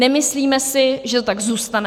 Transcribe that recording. Nemyslíme si, že to tak zůstane.